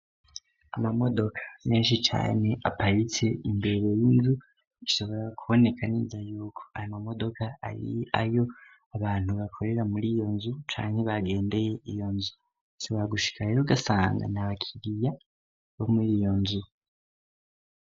Amamodoka menshi cane aparitse imbere y'inzu, bishobora kuboneka neza yuko ayo mamodoka ari ayo abantu bakorera muri iyo nzu canke bagendeye iyo nzu. Bishobora gushika rero ugasanga n'abakiriya bo muri iyo nzu.